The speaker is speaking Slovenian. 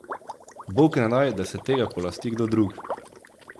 Bog ne daj, da se tega polasti kdo drug!